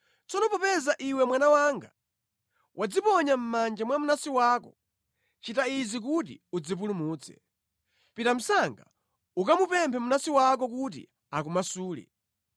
Tsono popeza iwe mwana wanga wadziponya mʼmanja mwa mnansi wako, chita izi kuti udzipulumutse: pita msanga ukamupemphe mnansi wako; kuti akumasule!